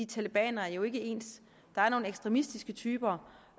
talebanere er jo ikke ens der er nogle ekstremistiske typer